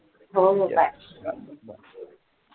हो हो bye